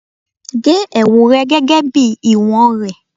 ge ẹwu rẹ gẹgẹ bi iwọn rẹ